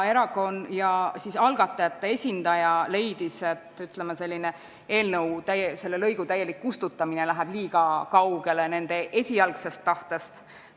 Algatajate esindaja leidis, et selle lõigu täielik kustutamine läheb nende esialgsest tahtest liiga kaugele.